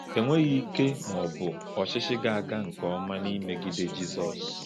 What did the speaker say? Enweghị ike ma ọ bụ ọchịchị ga-aga nke ọma n’imegide Jizọs.